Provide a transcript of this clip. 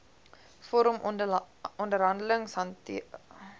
vorm onderhandelingsrade hanteer